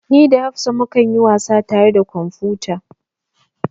Ni da hafsa mu kan yi wasa tare a kwamfuta